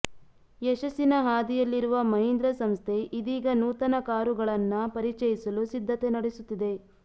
ಯಶಸ್ಸಿನ ಹಾದಿಯಲ್ಲಿರುವ ಮಹೀಂದ್ರ ಸಂಸ್ಥೆ ಇದೀಗ ನೂತನ ಕಾರುಗಳನ್ನ ಪರಿಚಯಿಸಲು ಸಿದ್ಧತೆ ನಡೆಸುತ್ತಿದೆ